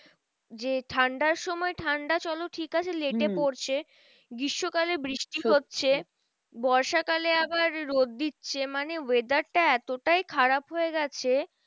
যে ঠান্ডার সময় ঠান্ডা চলো ঠিক আছে late এ পড়ছে। গ্রীষ্মকালে বৃষ্টি হচ্ছে। বর্ষা কালে আবার রোদ দিচ্ছে মানে weather টা এতটাই খারাপ হয়েগেছে